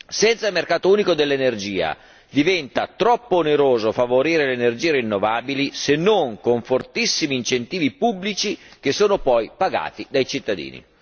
Senza un mercato unico dell'energia diventa troppo oneroso favorire le energie rinnovabili, se non con fortissimi incentivi pubblici che sono poi pagati dai cittadini.